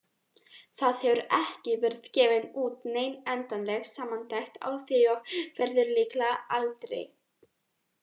Það hefur ekki verið gefin út nein endanleg samantekt á því og verður líklega aldrei.